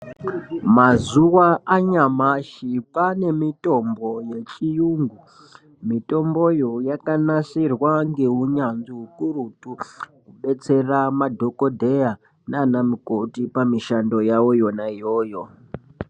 Mazuva anyamashi Kwane mitombo yechiyungu mitomboyo yakanasirwa ngenunyanzvi ukurutu kubetsera madhokodheya nana mikoti pamishando yawo yona iyoyo.